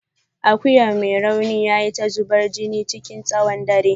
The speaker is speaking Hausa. Akuyan mai rauni yayi ta zubar jini chikin tsawon dare.